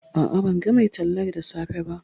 A'a, ban ga mai tallar da safe ba